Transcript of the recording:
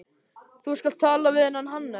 Þú skalt tala við þennan Hannes.